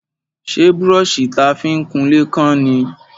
Ṣé brọ́ṣì ta fi ń kunlé kán ni?